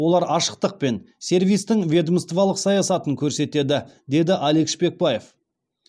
олар ашықтық пен сервистің ведомстволық саясатын көрсетеді деді алик шпекбаев